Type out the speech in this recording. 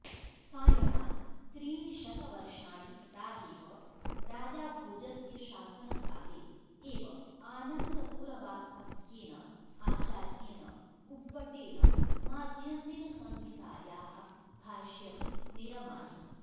सायणात् त्रीणि शतवर्षाणि प्रागेव राजाभोजस्य शासनकाले एव आनन्दपुरवास्तव्येन आचार्येण उव्वटेन माध्यन्दिनसंहितायाः भाष्यं निरमायि